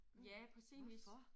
Ja på sin vis